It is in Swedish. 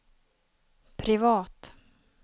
privat